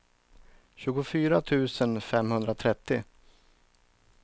tjugofyra tusen femhundratrettio